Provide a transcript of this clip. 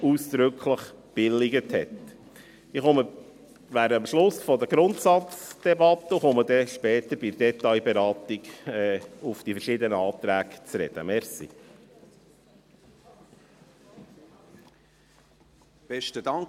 Ich bin am Ende meiner Ausführungen zur Grundsatzdebatte und werde dann bei der Detailberatung auf die verschiedenen Anträge zu sprechen kommen.